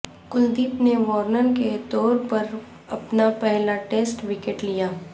کلدیپ نے وارنر کے طور پر اپنا پہلا ٹیسٹ وکٹ لیا